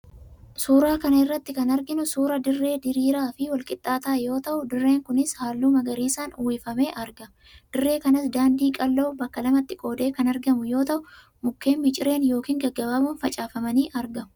Suuraa kana irratti kan arginu suuraa dirree diraaraa fii walqixxaataa yoo ta'u, dirreen kunis hallu magariisaan uwwifamee argama. Dirree kanas daandiin qal'oo bakka lamatti qoodee kan argamu yoo ta'u, mukkeen micireen yookiin gaggabaaboon faffaca'anii argamu.